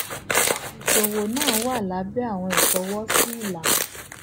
iṣowo naa wa labẹ awọn ifọwọsi ilana